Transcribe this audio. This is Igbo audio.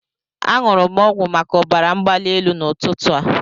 Aṅụrụ m ọgwụ maka ọbara mgbali elu n'ụtụtụ a.